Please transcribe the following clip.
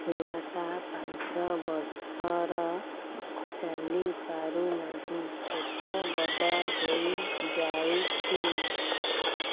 ଛୁଆଟା ପାଞ୍ଚ ବର୍ଷର ଚାଲି ପାରୁ ନାହି ପେଟ ବଡ଼ ହୋଇ ଯାଇଛି